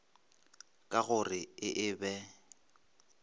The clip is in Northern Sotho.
ka go re e be